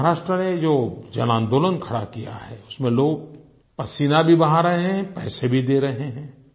महाराष्ट्र ने जो जनआंदोलन खड़ा किया है उसमें लोग पसीना भी बहा रहे हैं पैसे भी दे रहे हैं